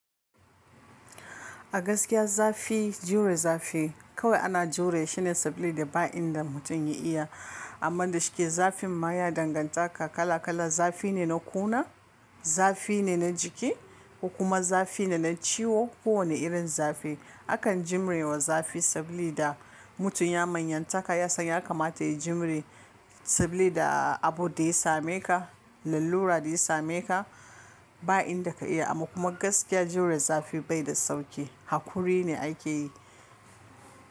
A gaskiya zafi jure zafi kawai ana jure shi ne saboda ba inda mutum ya iya amma da shike zafin ma ya danganta ka kala kala. Zafi ne na kuna, zafi ne na jiki kokuma zafi ne na ciwo. Ko wane irin zafi akan jimre wa zafi saboda mutum ya manyantaka, ya san ya kamata ya jiwre sabilida abu da ya same ka, lallura da ya same ka ba inda ka iya. Amma gaskiya jure zafi bai da sauki, hakuri ne ake yi.